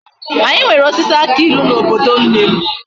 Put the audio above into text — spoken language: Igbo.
Anyi nwere osisi aki ilu na obodo nnem